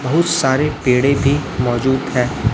बहुत सारे पेड़े थी मौजूद है।